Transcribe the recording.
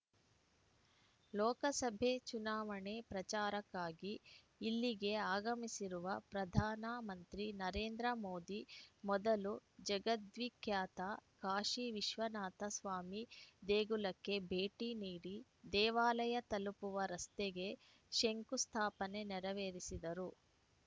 ಲೋಕಸಭೆ ಚುನಾವಣೆ ಪ್ರಚಾರಕ್ಕಾಗಿ ಇಲ್ಲಿಗೆ ಆಗಮಿಸಿರುವ ಪ್ರಧಾನ ಮಂತ್ರಿ ನರೇಂದ್ರಮೋದಿ ಮೊದಲು ಜಗದ್ವಿಖ್ಯಾತ ಕಾಶಿ ವಿಶ್ವನಾಥ ಸ್ವಾಮಿ ದೇಗುಲಕ್ಕೆ ಭೇಟಿ ನೀಡಿ ದೇವಾಲಯ ತಲುಪುವ ರಸ್ತೆಗೆ ಶಂಕು ಸ್ಥಾಪನೆ ನೆರವೇರಿಸಿದರು